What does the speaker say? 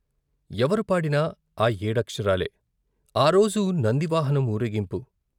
ఎవరు పాడినా ఆ ఏడక్షరాలే ఆరోజు నందివాహనం ఊరేగింపు.